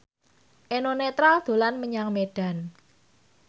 Eno Netral dolan menyang Medan